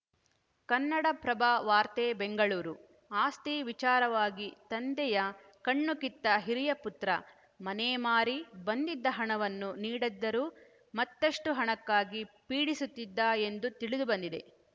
ಕನ್ನಡಪ್ರಭ ವಾರ್ತೆ ಬೆಂಗಳೂರು ಆಸ್ತಿ ವಿಚಾರವಾಗಿ ತಂದೆಯ ಕಣ್ಣು ಕಿತ್ತ ಹಿರಿಯ ಪುತ್ರ ಮನೆ ಮಾರಿ ಬಂದಿದ್ದ ಹಣವನ್ನು ನೀಡದ್ದರೂ ಮತ್ತಷ್ಟುಹಣಕ್ಕಾಗಿ ಪೀಡಿಸುತ್ತಿದ್ದ ಎಂದು ತಿಳಿದುಬಂದಿದೆ